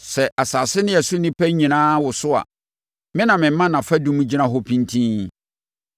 Sɛ asase ne ɛso nnipa nyinaa woso a, me na mema nʼafadum gyina hɔ pintinn.